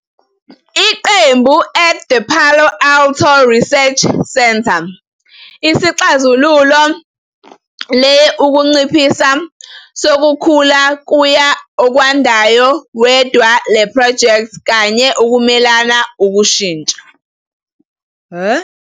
Iqembu at the Palo Alto Research Center isixhazululo le unciphisa sokukhula kuya okwandayo wedwa le project kanye ukumelana ukushintsha.